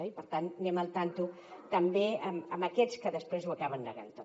i per tant anem al tanto també amb aquests que després ho acaben negant tot